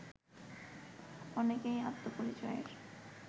অনেকেই আত্মপরিচয়ের